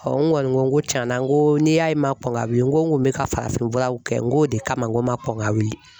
n kɔni ko n ko tiɲɛna n ko n'i y'a ye n ma kɔn ka wili n ko n ko n bɛ ka farafinfuraw kɛ n k'o de kama n ko n ma kɔn ka wili